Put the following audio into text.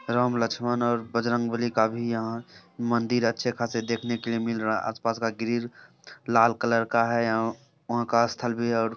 राम लक्ष्मन और बजरंग बली का भी यहाँ मंदिर अच्छे खासे देखने के लिए मिल रहा है। आस-पास का ग्रिल लाल कलर का है। ओ-- वाहाँ का स्थल भी है।